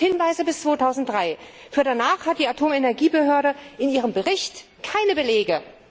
Es gibt Hinweise bis 2003, für danach hat die Atomenergiebehörde in ihrem Bericht keine Belege.